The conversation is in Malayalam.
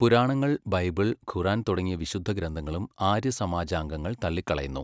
പുരാണങ്ങൾ, ബൈബിൾ, ഖുർആൻ തുടങ്ങിയ വിശുദ്ധഗ്രന്ഥങ്ങളും ആര്യസമാജാംഗങ്ങൾ തള്ളിക്കളയുന്നു.